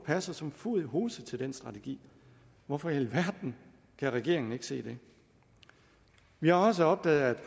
passer som fod i hose til den strategi hvorfor i alverden kan regeringen ikke se det vi har også opdaget